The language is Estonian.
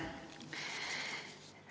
Tere!